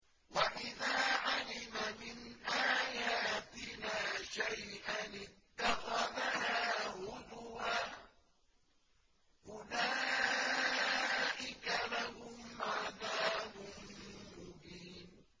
وَإِذَا عَلِمَ مِنْ آيَاتِنَا شَيْئًا اتَّخَذَهَا هُزُوًا ۚ أُولَٰئِكَ لَهُمْ عَذَابٌ مُّهِينٌ